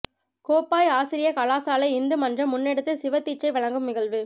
கோப்பாய் ஆசிரிய கலாசாலை இந்து மன்றம் முன்னெடுத்த சிவ தீட்சை வழங்கும் நிகழ்வு